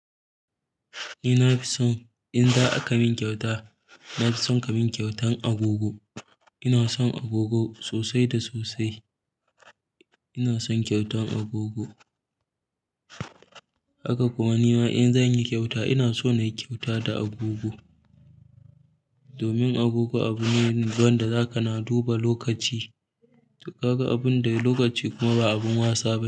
Ni na fi son in za a ka min kyauta, na fi son ka min kyautan agogo. Ina son agogo sosai da sosai. Ina son kyautan agogo. Haka kuma nima in zanyi kyauta ina so nayi kyauta da agogo. Domin agogo abu ne wanda za ka na duba lokaci. To kaga abun da lokaci kuma ba abun wasa ba.